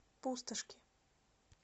пустошки